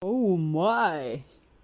оу май